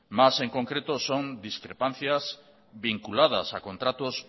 más en concreto son discrepancias vinculadas a contratos